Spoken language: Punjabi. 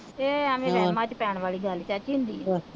ਇਹ ਐਵੀਂ ਵਹਿਮਾਂ ਚ ਪੈਣ ਵਾਲੀ ਗੱਲ ਚਾਚੀ,